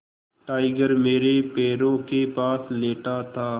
tiger मेरे पैरों के पास लेटा था